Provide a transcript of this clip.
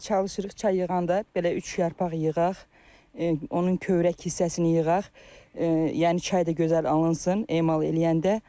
Çalışırıq çay yığanda belə üç yarpaq yığaq, onun kövrək hissəsini yığaq, yəni çay da gözəl alınsın emal eləyəndə.